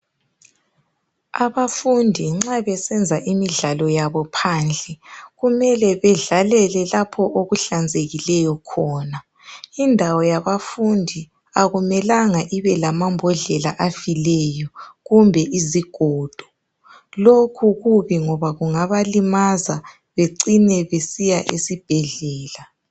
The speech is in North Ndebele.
Abafundi nxa besenza imidlalo yabo phandle kumele bedlalele lapho okuhlanzekileyo khona. Indawo yabafundi akumelanga ibela bhondlela afileyo kumbe izigodo lokhu kubi ngoba kungabalimaza becine besiya esibhedlela.